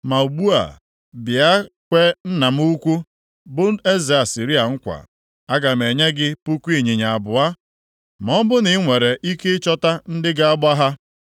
“ ‘Ma ugbu a, bịa kwee nna m ukwu, bụ eze Asịrịa nkwa. Aga m enye gị puku ịnyịnya abụọ ma ọ bụrụ na i nwere ike ịchọta ndị ga-agba ha.